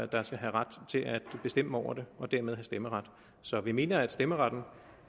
der skal have ret til at bestemme over det og dermed have stemmeret så vi mener at stemmeretten